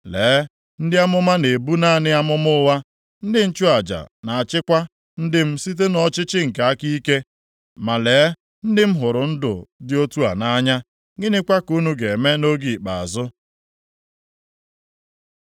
Lee, ndị amụma na-ebu naanị amụma ụgha, ndị nchụaja na-achịkwa ndị m site nʼọchịchị nke nʼaka ike, ma lee, ndị m hụrụ ndụ dị otu a nʼanya. Gịnịkwa ka unu ga-eme nʼoge ikpeazụ.”